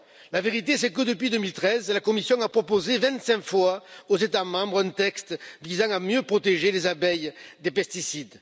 La vérité, c'est que depuis 2013, la Commission a proposé vingt cinq fois aux États membres un texte visant à mieux protéger les abeilles des pesticides.